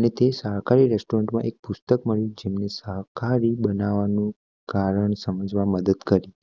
અને તે સહકાહારી રેસ્ટોરેન્ટમાં એક પુષ્ટક મળી જેમાં સહકાહારી બનવાનું કારણ સમજવા મદદ કરી